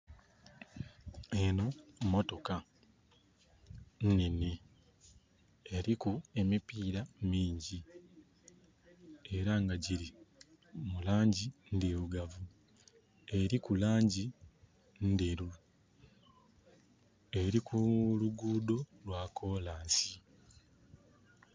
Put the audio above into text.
Enho motoka nhenhe eliku emipira mingi era nga giri mu langi ndhirugavu, eriku langi ndheru, eri kulugudho lwa kolansi.